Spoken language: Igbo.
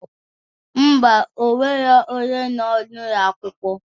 Ḿbà,o nwero onye nọ n'ulọ akwụkwọ